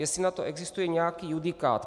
Jestli na to existuje nějaký judikát.